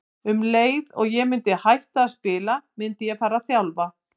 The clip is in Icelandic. Um leið og ég myndi hætta að spila myndi ég fara að þjálfa.